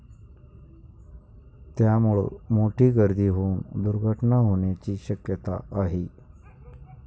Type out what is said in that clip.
त्यामुळं मोठी गर्दी होऊन दुर्घटना होण्याची शक्यता आहे.